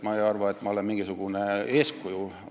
Ma ei arva, et ma olen mingisugune eeskuju.